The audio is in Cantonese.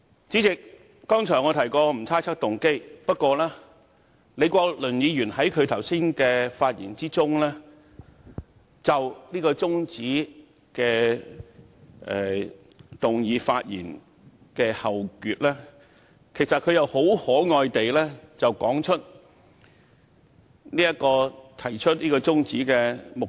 主席，我剛才提過不會猜測議員的動機，但李國麟議員剛才就中止待續議案發言時，於後段很可愛地指出這項中止待續議案的目的。